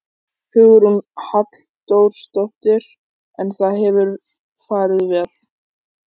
Hugrún Halldórsdóttir: En það hefur farið vel?